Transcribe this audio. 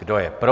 Kdo je pro?